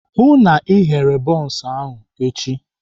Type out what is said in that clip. Hụụ na Ị ghere bọns echi!